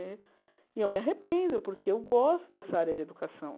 Né e eu me arrependo, porque eu gosto dessa área de educação.